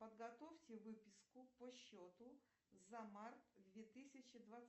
подготовьте выписку по счету за март две тысячи